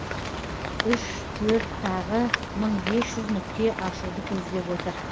үш төрт тағы мың бес жүз нүкте ашуды көздеп отыр